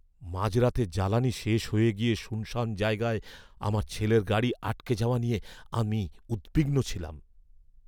মাঝরাতে জ্বালানি শেষ হয়ে গিয়ে শুনশান জায়গায় আমার ছেলের গাড়ি আটকে যাওয়া নিয়ে আমি উদ্বিগ্ন ছিলাম।